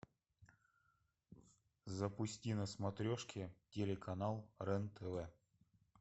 запусти на смотрешке телеканал рен тв